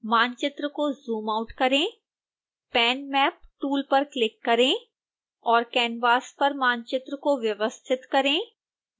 मानचित्र को zoom out करें pan map टूल पर क्लिक करें और कैनवास पर मानचित्र को व्यवस्थित करें